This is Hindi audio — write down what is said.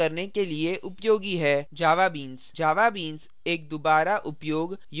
javabeans: javabeans एक दुबारा उपयोग योग्य सॉफ्टवेयर घटक है